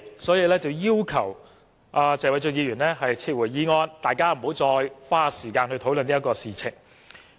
所以，他才要求謝偉俊議員撤回議案，大家不要再花時間討論這件事情。